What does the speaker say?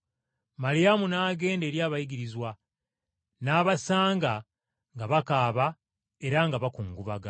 Maliyamu n’agenda eri abayigirizwa, n’abasanga nga bakaaba era nga bakungubaga.